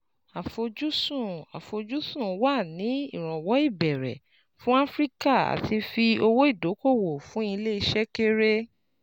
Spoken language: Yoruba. Àfojúsùn Àfojúsùn wa ni ìrànwọ́ ìbẹ̀rẹ̀ fún Áfíríkà àti fi owó ìdókòwò fún ilé iṣẹ́ kéré.